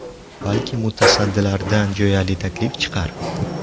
Balki mutasaddilardan jo‘yali taklif chiqar?